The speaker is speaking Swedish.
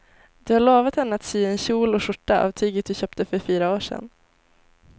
Du har lovat henne att du ska sy en kjol och skjorta av tyget du köpte för fyra år sedan.